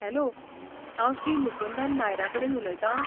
Hello! हांव श्री मुकुंदन नायरा कडेन उलयतां?